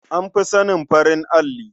An fi sanin farin alli.